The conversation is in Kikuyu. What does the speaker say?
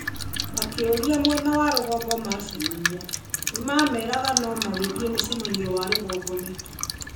Akĩũria mwena wa rũgongo macemania nĩmamerega no mangĩthiĩ mũcemanio wa rũgongo nĩkĩ.